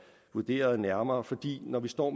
vurderet nærmere for når vi står